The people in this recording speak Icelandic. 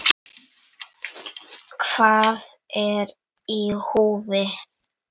Hvað er í húfi?